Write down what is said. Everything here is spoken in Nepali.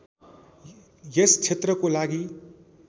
यस क्षेत्रको लागि